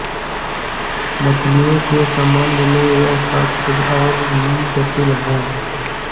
मछलियों के सम्बन्ध में यह तथ्य और भी जटिल है